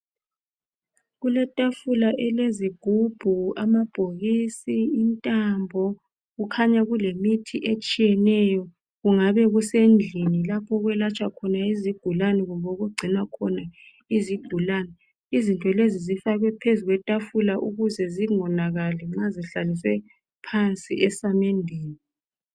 Kuletafula elezigubhu, amabhokisi, intambo. Kukhanya kulemithi etshiyeneyo. Kungabe kusendlini lapho okwelatshwa khona izigulani kumbe okugcinwa khona izigulani. Izinto lezi zifakwe phezu kwetafula ukuze zingonakali lnxa zihlaliswe phansi esamendeni.